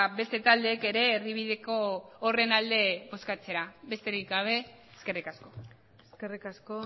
beste taldeek ere erdibideko horren alde bozkatzea besterik gabe eskerrik asko eskerrik asko